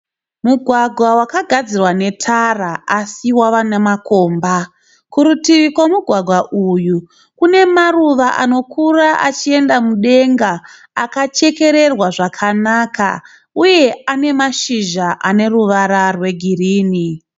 Mugwagwa wakagadzirwa netara asi wave nemakomba, kurutivi kwemugwagwa uyu kune maruva anokura achienda mudenga uye akachekererwa zvakanaka uye ane mashizha ane ruvara rwegirini.